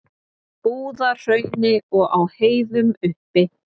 Búðahrauni og á heiðum uppi.